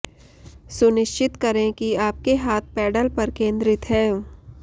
सुनिश्चित करें कि आपके हाथ पैडल पर केंद्रित हैं